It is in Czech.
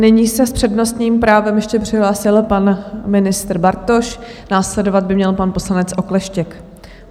Nyní se s přednostním právem ještě přihlásil pan ministr Bartoš, následovat by měl pan poslanec Okleštěk.